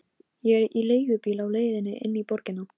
Þetta var með þyngstu höggunum til þessa.